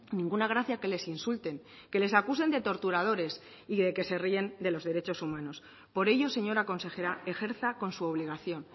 ninguna gracia que les insulten que les acusen de torturadores y de que se ríen de los derechos humanos por ello señora consejera ejerza con su obligación